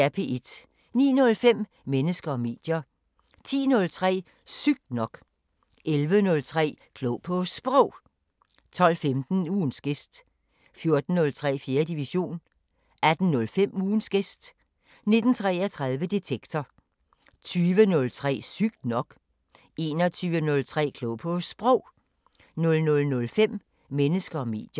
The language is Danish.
09:05: Mennesker og medier 10:03: Sygt nok 11:03: Klog på Sprog 12:15: Ugens gæst 14:03: 4. division 18:05: Ugens gæst 19:33: Detektor 20:03: Sygt nok 21:03: Klog på Sprog 00:05: Mennesker og medier